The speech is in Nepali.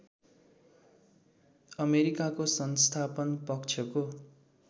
अमेरिकाको संस्थापन पक्षको